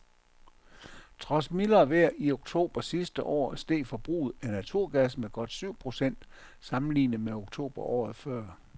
Trods mildere vejr i oktober sidste år steg forbruget af naturgas med godt syv procent sammenlignet med oktober året før.